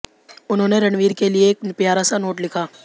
उन्होंने रणवीर के लिए एक प्यारा सा नोट लिखा